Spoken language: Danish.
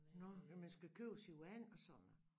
Nåh men man skal købe sit vand og sådan noget